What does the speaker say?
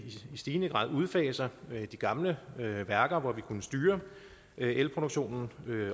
stigende grad udfaser de gamle værker hvor man kunne styre elproduktionen